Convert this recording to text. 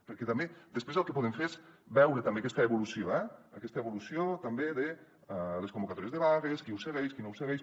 perquè també després el que podem fer és veure també aquesta evolució eh aquesta evolució també de les convocatòries de vagues qui ho segueix qui no ho segueix